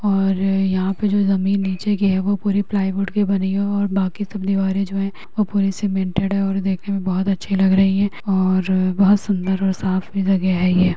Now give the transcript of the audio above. और यहाँ पे जो नीचे की ज़मीन है वो प्लाईवुड के बनी है बाकी सब दीवारें जो हैं पूरी सीमेंटेड है और देखने में बहुत अच्छे लग रहे है और बहुत सुंदर और साफ़ लग रहे है।